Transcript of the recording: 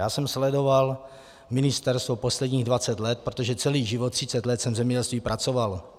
Já jsem sledoval ministerstvo posledních 20 let, protože celý život, 30 let, jsem v zemědělství pracoval.